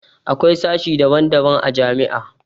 Akwai sashe daban daban a jami'a